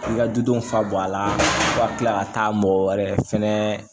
I ka dudenw fa bɔ a la ka tila ka taa mɔgɔ wɛrɛ fɛnɛ